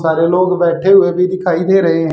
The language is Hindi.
सारे लोग बैठे हुए भी दिखाई दे रहे हैं।